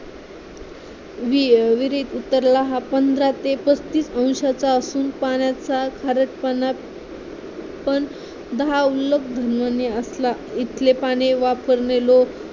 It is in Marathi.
विहिरीत उतराला हा ते पंधरा ते पस्तीस अंशाचा असून पाण्याचा खारट पाण्यापणा दहा असला इथले पाणी वापरणे